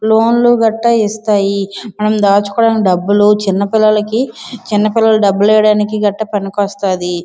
లోన్లు గట్ట ఇస్తాయి మనం దాచుకోడానికి డబ్బులు చిన్న పిల్లలకు చిన్న పిల్లల డబ్బులు వేయడానికి గట్ట పనికి వస్తాది.